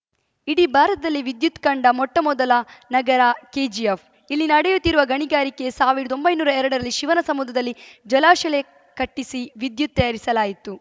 ಇಡೀ ಭಾರತದಲ್ಲಿ ವಿದ್ಯುತ್‌ ಕಂಡ ಮೊಟ್ಟಮೊದಲ ನಗರ ಕೆಜಿಎಫ್‌ ಇಲ್ಲಿ ನಡೆಯುತ್ತಿರುವ ಗಣಿಗಾರಿಕೆ ಸಾವಿರದ ಒಂಬೈನೂರ ಎರಡರಲ್ಲಿ ಶಿವನ ಸಮುದ್ರದಲ್ಲಿ ಜಲಾಶಲಯ ಕಟ್ಟಿಸಿ ವಿದ್ಯುತ್‌ ತಯಾರಿಸಲಾಯಿತು